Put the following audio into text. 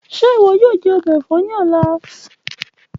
Ṣe iwọ yoo jẹ ọbẹ ẹfọ ni ọla?